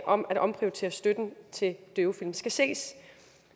om at omprioritere støtten til døvefilm skal ses